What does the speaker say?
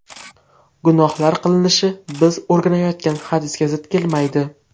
Gunohlar qilinishi biz o‘rganayotgan hadisga zid kelmaydi.